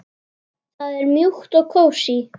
Það er mjúkt og kósí.